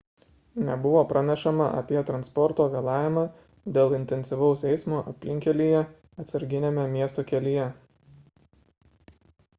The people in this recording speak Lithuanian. nebuvo pranešama apie transporto vėlavimą dėl intensyvaus eismo aplinkkelyje atsarginiame miesto kelyje